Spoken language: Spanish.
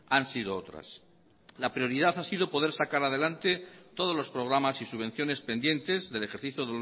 han sido otras la prioridad ha sido poder sacar adelante todos los programas y subvenciones pendientes del ejercicio